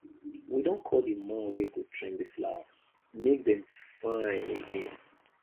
we don call the man wey go trim the flowers make dem fine again